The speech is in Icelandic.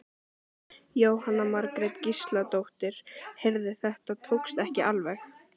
Jóhanna Margrét Gísladóttir: Heyrðu þetta tókst ekki alveg?